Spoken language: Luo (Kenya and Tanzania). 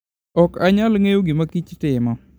Ok anyal ng'eyo gima kich timo.